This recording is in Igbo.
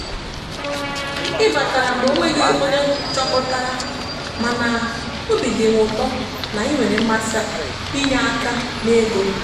ị batara mgbe onweghi onye choputaramana obi dim ụtọ na ị nwere mmasi inye aka n'ego.